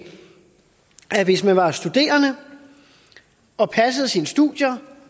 at hvis man er studerende og passer sine studier